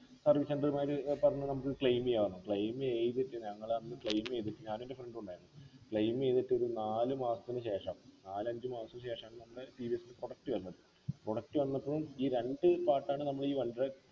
service center മാര് ഏർ പറഞ്ഞു നമുക്ക് claim ചെയ്യലോ claim ചെയ്ത് ഞങ്ങളന്നു claim ചെയ്തിട്ട് ഞാനും എൻ്റെ friend ഉം ഉണ്ട് claim ചെയ്തിട്ട് ഒരു നാല് മാസത്തിനു ശേഷം നാലഞ്ച് മാസത്തിനു ശേഷം നമ്മളെ ടി വി എസ്ൻ്റെ claim വന്നത് product വന്നപ്പോഴും ഈ രണ്ട് കാട്ടാണ്ട് നമ്മള് ഈ